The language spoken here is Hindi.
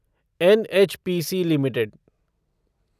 NHPC limited